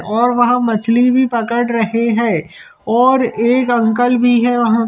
--और वह मछली भी पकड़ रहे है और एक अंकल भी है वहाँ--